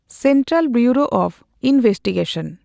Central Bureau of investigation.